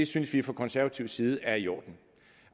synes vi fra konservativ side at det er i orden